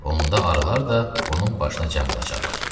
Onda arılar da onun başına cəm olacaqlar.